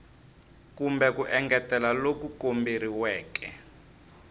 kumbe ku engetela loku komberiweke